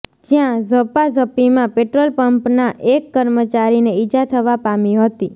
જ્યાં ઝપાઝપીમાં પેટ્રોલપંપના એક કર્મચારીને ઇજા થવા પામી હતી